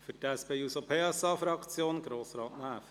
Für die SP-JUSO-PSA-Fraktion: Grossrat Näf.